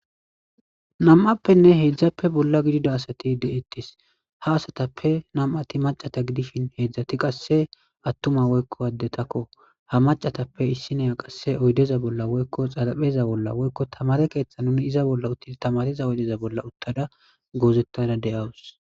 nam7appenne heedzdzappe bolla gidida asati de'ettes ha asatappe nam7ati macata gidishin heedzdzati qasse attuma woykko addetakko ha macatappe issineya qasse oydeza bolla woykko xalapheza bolla woykko tamare keeththa nuni iza bolla utti tamariza oydeza bolla uttada goozettada deyawus